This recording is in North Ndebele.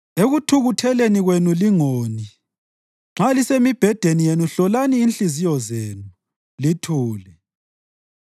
Ekuthukutheleni kwenu lingoni; nxa lisemibhedeni yenu hlolani inhliziyo zenu, lithule.